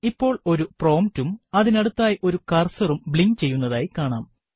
ഇപ്പോൾ ഒരു prompt ഉം അതിനടുത്തായി ഒരു കർസറും ബ്ലിങ്ക് ചെയ്യുന്നതായി കാണാം